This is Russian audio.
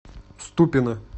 ступино